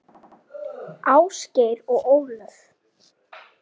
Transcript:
Ásgeir og Ólöf.